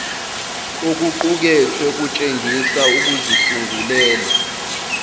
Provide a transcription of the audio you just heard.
okuqukethwe kutshengisa ukuzisungulela